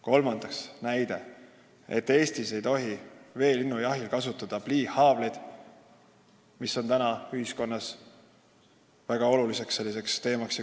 Kolmandaks, Eestis ei tohi veelinnujahil kasutada pliihaavleid, mis on ühiskonnas väga oluline teema.